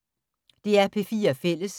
DR P4 Fælles